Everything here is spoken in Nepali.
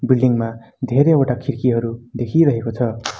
बिल्डिङ्ग मा धेरैवटा खिड्कीहरू देखिरहेको छ।